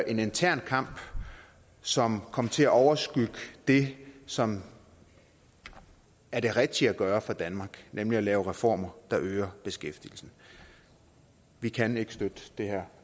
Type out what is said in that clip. en intern kamp som kom til at overskygge det som er det rigtige at gøre for danmark nemlig at lave reformer der øger beskæftigelsen vi kan ikke støtte det her